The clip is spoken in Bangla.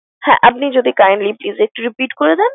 হ্যাঁ! আপনি যদি kindly please একটু repeat করে দেন।